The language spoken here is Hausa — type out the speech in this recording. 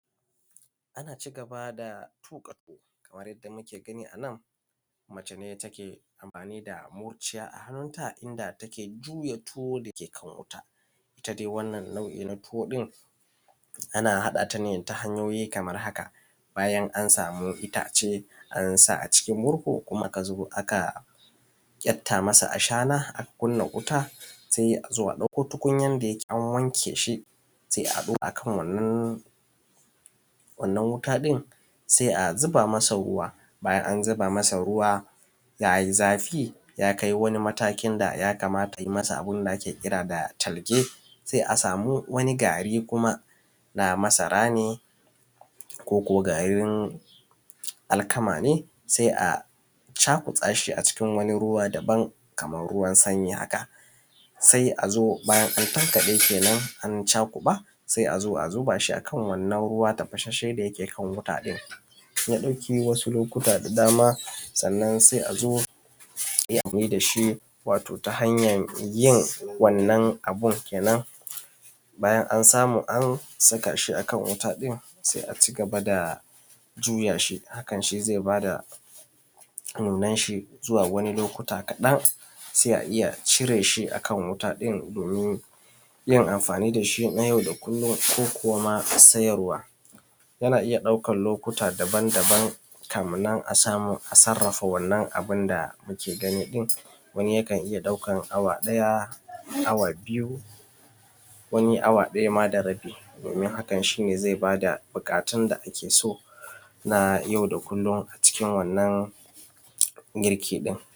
Ana cigaba da tuka tuwo kamar yadda muke gani a nan mace ce take cigaba da tuƙa tuwo da murciya a hannun ta inda take juya tuwo da ke kan wuta, ita dai wannan nau’i na tuwo ɗin ana haɗa ta ne ta hanyoyi kamar haka: bayan an samu itace an sa a cikin murhu kuma aka kyatta masa ashana aka kunna wuta sai a ɗauko tukunyan da yake an wanke shi, sai a ɗaura akan wannan wuta ɗin sai a zuba masa ruwa. Bayan an zuba masa ruwan ya yi zafi ya kai wani matakin da ya kamata ai masa abun da ake kira da talge sai a sami wani gari na masara ne koko garin alkama ne, sai a cakuɗa shi cikin wani ruwa da ban kaman ruwan sanyi haka sai a zo bayan an tankaɗe kenan an cakuɗa sai a zo a zuba akan wannan ruwa tafasasshe da yake kan wannan wuta ɗin, ya ɗauki wasu lokuta da dama sannan sai a zo a yi amfani da shi wato ta hanyan yin bayanan samu an saka shi a kan wuta ɗin sai a zo a cigaba da juya shi, hakan shi zai ba da nunan shi zuwa wani lokuta kaɗan sai a iya cire shi akan wuta ɗin domin yin amfani da shi na yau da kullum ko kuma sayarwa, yana iya ɗaukan lokuta daban-daban kafin nan a samu a yi amfani da shi kaman yadda muke gani ɗin wani yakan iya awa ɗaya, awa biyu, wani awa ɗaya ma da rabi domin hakan shi ba da buƙatun da ake so na yau da kullun a ciki wannan girki ɗin.